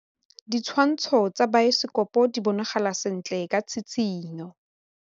Ditshwantshô tsa biosekopo di bonagala sentle ka tshitshinyô.